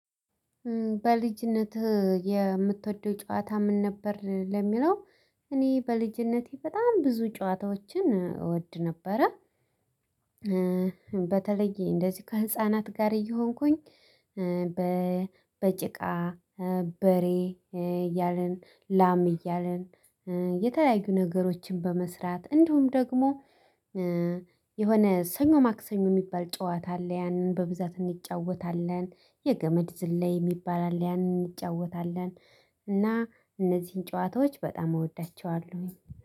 በልጅነትህ እ የምትወደው ጨዋታ ምን ነበር ለሚለው? እኔ በልጅነቴ በጣም ብዙ ጨዋታዎችን እ እወድ ነበረ። እ በተለይ እንደዚህ ከህፃናት ጋር እየሆንኩኝ እበ በጭቃ እበሬ እ እያልን እ ላም እ እያለን እ የተለያዩ ነገሮችን በመስራት እንዲሁም ደግሞ እ የሆነ ሰኞ ማክሰኞ የሚባል ጨዋታ አለ ያንን በብዛት እንጫወታለን። የገመድ ዝላይ የሚባል አለ ያንን እንጫወታለን። እና እነዚህን ጨዋታዎች በጣም እወዳቸዋለሁኝ